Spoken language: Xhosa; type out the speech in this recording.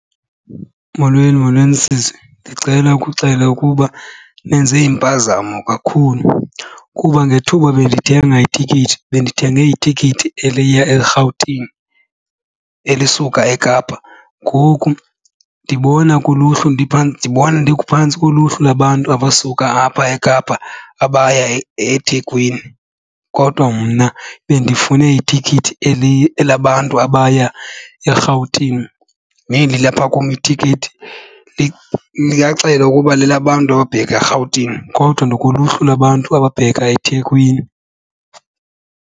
Molweni molweni, sisi. Ndicela ukuxela ukuba nenze impazamo kakhulu kuba ngethuba bendithenga itikiti bendithenge itikiti eliya eRhawutini elisuka eKapa. Ngoku ndibona kuluhlu ndibona ndiphantsi koluhlu lwabantu abasuka apha eKapa abaya eThekwini kodwa mna bendifune itikiti elabantu abaya eRhawutini. Neli lilapha kum itikiti liyaxela ukuba lelabantu ababheka eRhawutini kodwa ndikuluhlu lwabantu ababheka eThekwini.